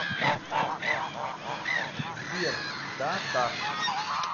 сбер да так